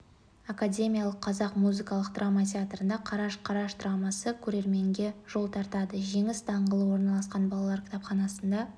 академиялық қазақ музыкалық драма театрында қараш-қараш драмасы көрерменге жол тартады жеңіс даңғылы орналасқан балалар кітапханасында